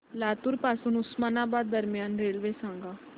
लातूर पासून उस्मानाबाद दरम्यान रेल्वे सांगा